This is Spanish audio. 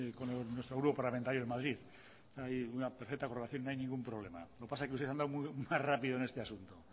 con nuestro grupo parlamentario en madrid hay una perfecta aprobación no hay ningún problema lo que pasa es que usted ha andado más rápido en este asunto